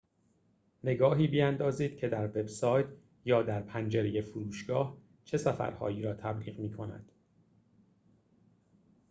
نگاهی بیندازید که در وب‌سایت یا در پنجره فروشگاه چه سفرهایی را تبلیغ می‌کند